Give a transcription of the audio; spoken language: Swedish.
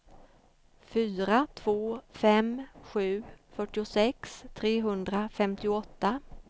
fyra två fem sju fyrtiosex trehundrafemtioåtta